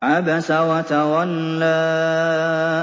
عَبَسَ وَتَوَلَّىٰ